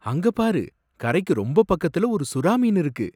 அங்க பாரு! கரைக்கு ரொம்ப பக்கத்துல ஒரு சுறா மீன் இருக்கு!